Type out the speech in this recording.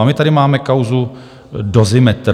A my tady máme kauzu Dozimetr.